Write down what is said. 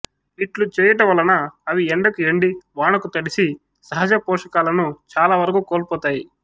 ఇట్లు చేయుట వల్లన అవి ఎండకు ఎండి వానకు తడిసి సహజ పోషకాలను చాలావరకు కోల్పోతాయి